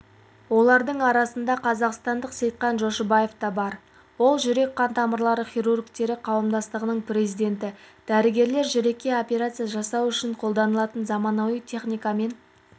олардың арасында қазақстандық сейтхан жошыбаев та бар ол жүрек-қан тамырлары хирургтері қауымдастығының президенті дәрігерлер жүрекке операция жасау үшін қолданылатын заманауи техникамен